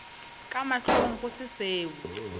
ka mahlong go se seo